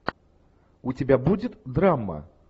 у тебя будет драма